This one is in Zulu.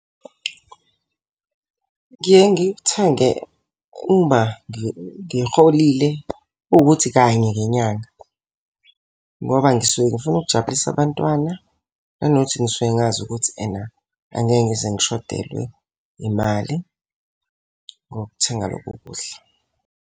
Ngiye ngikuthenge uma ngiholile ukuthi kanye ngenyanga. Ngoba ngisuke ngifuna ukujabulisa abantwana, nanokuthi ngisuke ngazi ukuthi ena angeke ngize ngishodelwa imali ngokuthenga lokhu kuhla.